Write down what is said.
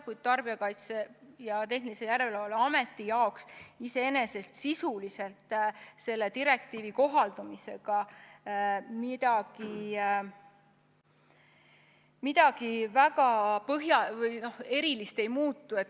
Kuid Tarbijakaitse ja Tehnilise Järelevalve Ameti jaoks sisuliselt selle direktiivi kohaldamisega midagi väga ei muutu.